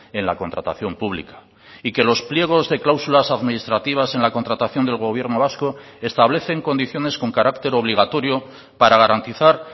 en la contratación publica y que los pliegos de cláusulas administrativas en la contratación del gobierno vasco establecen condiciones con carácter obligatorio para garantizar